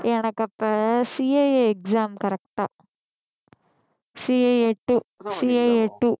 எனக்கு அப்ப CAAexam correct ஆ CAAtwo CAAtwo